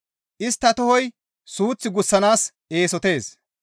Istta tohoy suuth gussanaas eesotees.